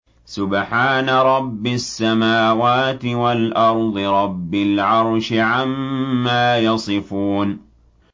سُبْحَانَ رَبِّ السَّمَاوَاتِ وَالْأَرْضِ رَبِّ الْعَرْشِ عَمَّا يَصِفُونَ